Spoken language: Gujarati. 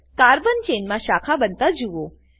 કાર્બન ચેનમાં શાખા બનતા જુઓ